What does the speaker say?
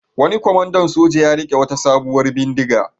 Wani kwamandan soja ya riƙe wata sabuwar bindiga.